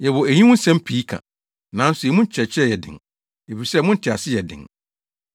Yɛwɔ eyi ho nsɛm pii ka, nanso emu kyerɛkyerɛ yɛ den, efisɛ mo ntease yɛ den.